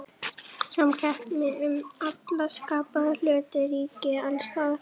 Samkeppni um alla skapaða hluti ríkir alls staðar.